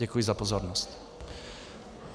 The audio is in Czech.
Děkuji za pozornost.